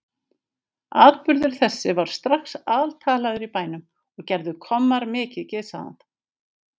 Atburður þessi varð strax altalaður í bænum og gerðu kommar mikið gys að